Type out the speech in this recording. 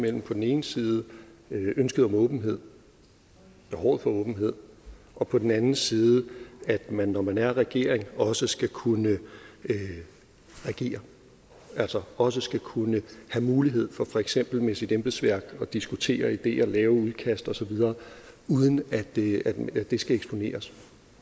mellem på den ene side ønsket om åbenhed behovet for åbenhed og på den anden side at man når man er regering også skal kunne regere altså også skal kunne have mulighed for for eksempel med sit embedsværk at diskutere ideer lave udkast osv uden at det at det skal eksponeres